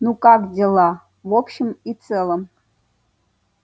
ну как дела в общем и целом